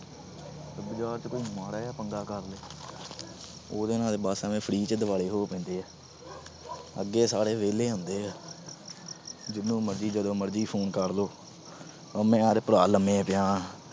ਬਾਜਾਰ ਚ ਕੋਈ ਮਾੜਾ ਜਾ ਪੰਗਾ ਕਰ ਲੇ, ਉਹਦੇ ਨਾਲ ਬਸ ਐਵੇ free ਚ ਦੁਆਲੇ ਹੋ ਪੈਂਦੇ ਆ। ਅੱਗੇ ਸਾਰੇ ਵਿਹਲੇ ਹੁੰਦੇ ਆ। ਜਿਹਨੂੰ ਜਦੋਂ ਮਰਜੀ phone ਕਰ ਦੋ। ਉਹਨੇ ਯਾਰ ਲੰਬੇ ਪਿਆ।